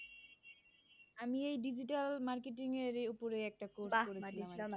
আমি এই digital marketing এর উপর একটা course করেছি।